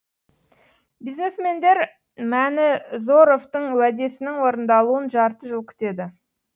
бизнесмендер мәнізоровтың уәдесінің орындалуын жарты жыл күтеді